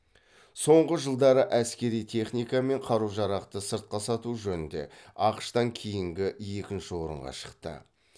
соңғы жылдары әскери техника мен қару жарақты сыртқа сату жөнінде ақш тан кейінгі екінші орынға шықты